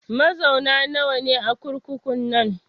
Mazauna nawa ne a kurkukun nan?